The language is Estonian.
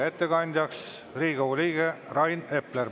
Ettekandja on Riigikogu liige Rain Epler.